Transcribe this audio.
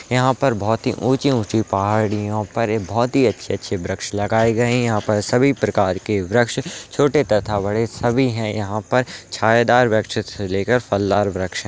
यहाँ पर बहुत ही ऊँची-ऊँची पहाड़ियों पर एक बहुत ही अच्छे-अच्छे वृक्ष लगाए गए हैं यह पर सभी प्रकार के वृक्ष छोटे तथा बड़े सभी हैं यहां पर छायेदार वृक्ष से लेकर फलदार वृक्ष --